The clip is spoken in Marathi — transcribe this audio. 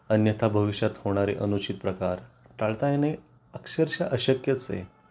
अन्यथा भविष्यात होणारे अनुचित प्रकार टाळता येणे अक्षरशः अशक्यच आहे